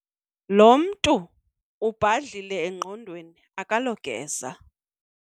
Lo mntu ubhadlile engqondweni akalogeza.